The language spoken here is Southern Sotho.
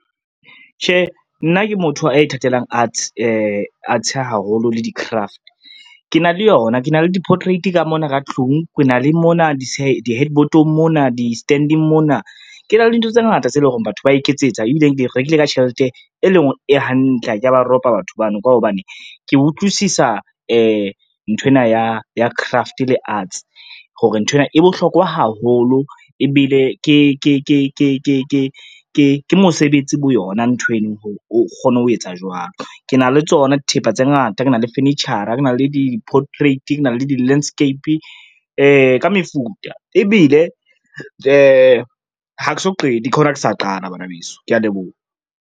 Tjhe, nna ke motho a ithatelang art haholo le di-craft. Ke na le yona, ke na le di-portrait ka mona ka tlung ke na le mona di-headboard-ong mona, di-stand-eng mona. Ke na le dintho tse ngata tse lo reng batho ba iketsetsa ebileng di re nkile ka tjhelete e lo reng e hantle, ha kea ba ropa batho bano, ka hobane ke utlwisisa nthwena ya craft le arts hore nthwena e bohlokwa haholo, ebile ke mosebetsi bo yona nthweno o kgone ho etsa jwalo. Ke na le tsona dithepa tse ngata ke na le furniture-a, ke na le di-portrait, ke na le di-landscape ka mefuta, ebile ha ke so qete ke hona ke sa qala bana beso, kea leboha.